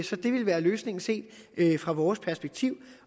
så det vil være løsningen set fra vores perspektiv